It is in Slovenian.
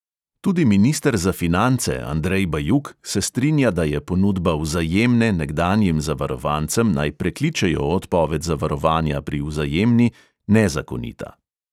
Tudi minister za finance andrej bajuk se strinja, da je ponudba vzajemne nekdanjim zavarovancem, naj prekličejo odpoved zavarovanja pri vzajemni – nezakonita.